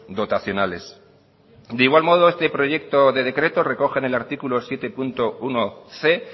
dotacionales de igual modo este proyecto de decreto recoge en el artículo siete punto unoc